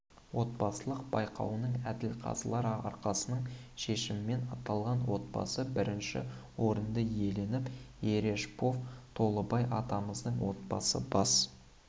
облыстық байқауының әділқазылар алқасының шешімімен аталған отбасы бірінші орынды иеленіп ережпов толыбай ағамыздың отбасы бас